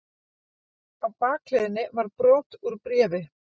Á bakhliðinni var brot úr bréfi.